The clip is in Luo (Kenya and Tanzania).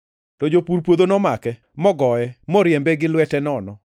To jopur puodho nomake, mogoye, moriembe gi lwete nono.